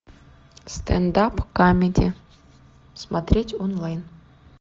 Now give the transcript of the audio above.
стендап камеди смотреть онлайн